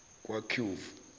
kaqove